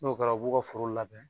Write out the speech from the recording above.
N'o kɛra u b'u ka foro labɛn.